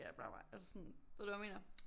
Bla bla altså sådan ved du hvad jeg mener